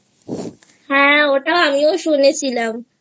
হ্যাঁ ওটা আমিও শুনেছিলাম